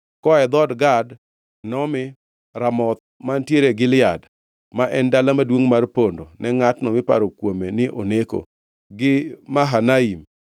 Koa e dhood Gad nomi: Ramoth mantiere Gilead (ma en dala maduongʼ mar pondo ne ngʼatno miparo kuome ni oneko), gi Mahanaim,